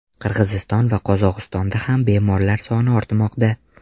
Qirg‘iziston va Qozog‘istonda ham bemorlar soni ortmoqda.